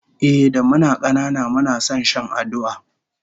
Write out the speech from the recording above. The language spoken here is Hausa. Ehh, da muna kanana muna son shan aduwa